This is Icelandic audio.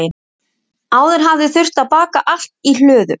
Áður hafði þurft að baka allt í hlóðum.